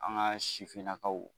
An ka sifinnakaw.